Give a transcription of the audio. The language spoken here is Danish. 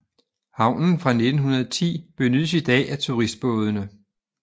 Havnen fra 1910 benyttes i dag af turistbådene